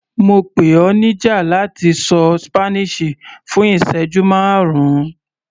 Mo pè ọ níjà láti ṣọ Spanish fún ìsẹ́jú márùn-ún.